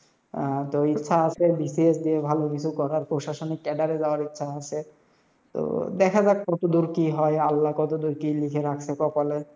আহ তো ইচ্ছা আসে BCS দিয়ে ভালো কিছু করার, প্রশাসনিক cadre যাওয়ারও ইচ্ছা আসে। তো দেখা যাক কত দূর কি হয়, আল্লা কত দূর কি লিখে রাখসে কপালে,